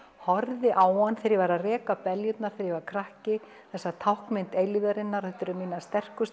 horfði á hann þegar ég var að reka beljurnar þegar ég var krakki þessi táknmynd eilífðarinnar þetta eru minnar